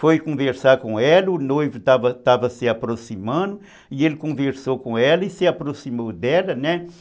Foi conversar com ela, o noivo estava se aproximando, e ele conversou com ela e se aproximou dela, né?